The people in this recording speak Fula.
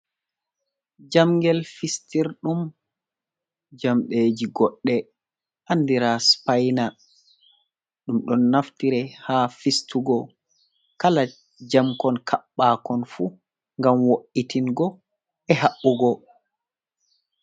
Jamgel fistirɗum jamdeji goɗɗe andira spaina, ɗum ɗon naftira ha fistugo kala jamkon kaɓɓa kon fu gam wo’itingo e haɓɓugo.